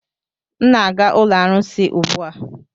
M na-aga ụlọ arụsị ugbu a